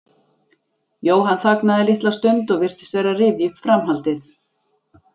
Jóhann þagnaði litla stund og virtist vera að rifja upp framhaldið.